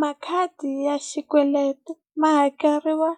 Makhadi ya xikweleti ma hakeriwa